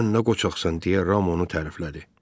Sən nə qoçaqsan deyə Ram onu təriflədi.